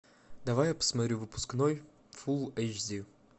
давай я посмотрю выпускной фул эйч ди